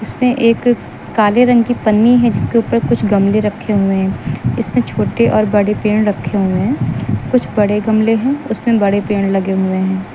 इसमें एक काले रंग की पन्नी है जिसके ऊपर कुछ गमले रखे हुए हैं इसमें छोटे और बड़े पेड़ रखे हुए हैं कुछ बड़े गमले हैं उसमें बड़े पेड़ लगे हुए हैं।